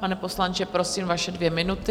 Pane poslanče, prosím, vaše dvě minuty.